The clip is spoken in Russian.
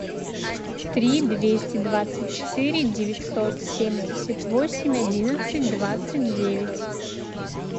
три двести двадцать четыре девятьсот семьдесят восемь одиннадцать двадцать девять